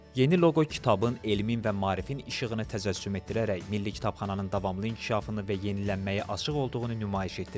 Yeni loqo kitabın, elmin və maarifin işığını təcəssüm etdirərək Milli Kitabxananın davamlı inkişafını və yenilənməyə açıq olduğunu nümayiş etdirir.